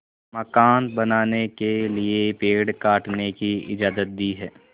मकान बनाने के लिए पेड़ काटने की इजाज़त दी है